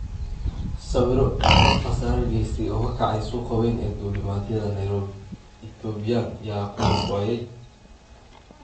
Sawirro: Dab khasaare geystay oo ka kacay suuqa weyn ee Duulimad yadaa Nairobi Ethiopian : yaa ku naf waayey?